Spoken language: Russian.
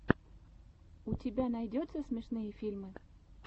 у тебя найдется смешные фильмы